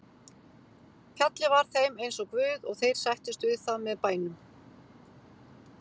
Fjallið var þeim eins og guð og þeir sættust við það með bænum.